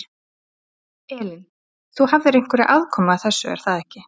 Elín: Þú hafðir einhverja aðkomu að þessu, er það ekki?